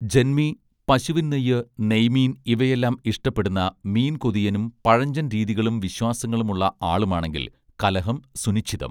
ജന്മി പശുവിൻ നെയ്യ് നെയ്മീൻ ഇവയെല്ലാം ഇഷ്ടപ്പെടുന്ന മീൻ കൊതിയനും പഴഞ്ചൻരീതികളും വിശ്വാസങ്ങളും ഉള്ള ആളുമാണെങ്കിൽ കലഹം സുനിശ്ചിതം